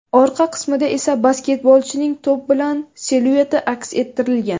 Orqa qismida esa basketbolchining to‘p bilan silueti aks ettirilgan.